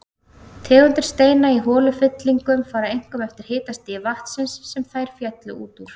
Tegundir steinda í holufyllingum fara einkum eftir hitastigi vatnsins, sem þær féllu út úr.